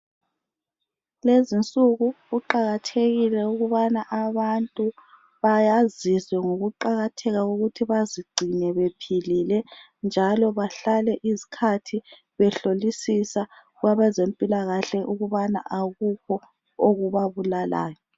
Kulezinsuku kuqakathekile ukubana abantu bayaziswe ngokuqakatheka kokuthi bazigcine bephilile njalo bahlale isikhathi behlolisisa kwabezempilakahle ukubana akukho okubabulalayo